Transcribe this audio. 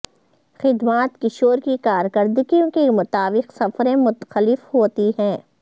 خدمات کشور کی کارکردگی کے مطابق سفریں مختلف ہوتی ہیں